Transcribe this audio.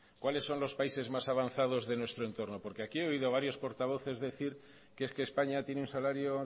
cuáles son los países más avanzados de nuestro entorno porque aquí he oído a varios portavoces decir que es que españa tiene un salario